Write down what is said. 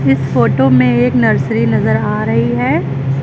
इस फोटो में एक नर्सरी नजर आ रही है।